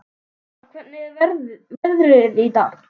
Ísmar, hvernig er veðrið í dag?